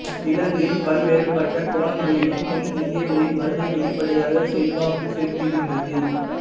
இலங்கையில் பல்வேறுபட்ட கோணங்களிலும் தென் இந்தியர்களின் வருகை வெளிபடையாக செல்வாக்கு செலுத்துகின்றது